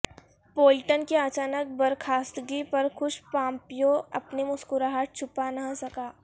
Bolton کی اچانک برخاستگی پر خوش پامپیو اپنی مسکراہٹ چھپا نہ سکے